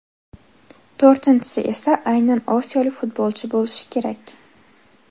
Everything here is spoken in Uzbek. To‘rtinchisi esa aynan osiyolik futbolchi bo‘lishi kerak.